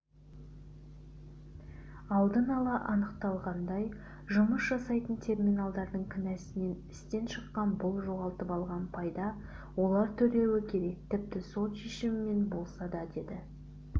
алдын-ала анықталғандай жұмыс жасамайтын терминалдардың кінәсінен істен шыққан бұл жоғалтып алған пайда олар төлеуі керек тіпті сот шешімімен болса да деді